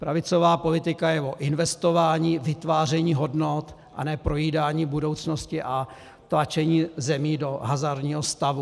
Pravicová politika je o investování, vytváření hodnot, a ne projídání budoucnosti a tlačení zemí do hazardního stavu.